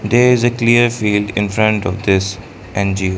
there is a clear field in front of this .